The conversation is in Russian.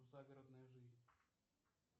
загородная жизнь